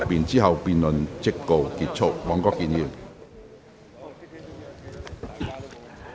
之後辯論即告結束。